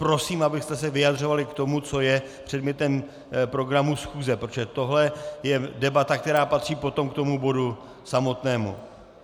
Prosím, abyste se vyjadřovali k tomu, co je předmětem programu schůze, protože tohle je debata, která patří potom k tomu bodu samotnému.